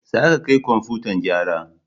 Za ka kai komfutan gyara!